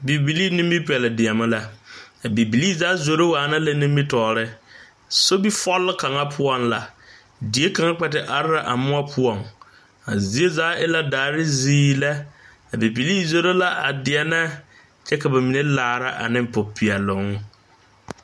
Neŋba tõɔnaa dɔɔ zeŋɛɛ la ka odaŋkpala ayi a biŋ o lomboreŋ o zeŋ la dakog zumɔzumɔ zuŋ kyɛ ville ville o gbɛre kaŋa bonpeɛɛle a de pare dakog kyoŋgoroŋ kaŋa zuŋ kyɛ paŋ taa o kɔmpiuta bondaanaa a kaaraa a kɔmpiuta zu a kɔmpiuta zu zaa e la suunee lɛ.o die veɛlɛ la.